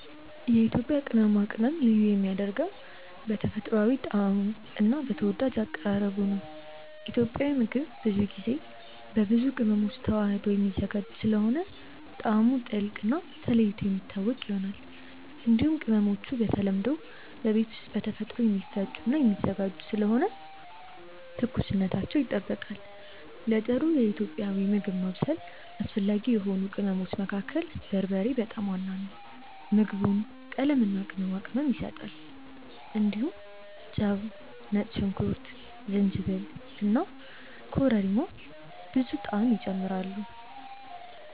የኢትዮጵያ ቅመማ ቅመም ልዩ የሚያደርገው በተፈጥሯዊ ጣዕሙ እና በተወዳጅ አቀራረቡ ነው። ኢትዮጵያዊ ምግብ ብዙ ጊዜ በብዙ ቅመሞች ተዋህዶ የሚዘጋጅ ስለሆነ ጣዕሙ ጥልቅ እና ተለይቶ የሚታወቅ ይሆናል። እንዲሁም ቅመሞቹ በተለምዶ በቤት ውስጥ በተፈጥሮ የሚፈጩ እና የሚዘጋጁ ስለሆኑ ትኩስነታቸው ይጠበቃል። ለጥሩ ኢትዮጵያዊ ምግብ ማብሰል አስፈላጊ የሆኑ ቅመሞች መካከል በርበሬ በጣም ዋና ነው። ምግቡን ቀለምና ቅመም ይሰጣል። እንዲሁም ጨው፣ ነጭ ሽንኩርት፣ ጅንጅብል እና ኮረሪማ ብዙ ጣዕም ይጨምራሉ።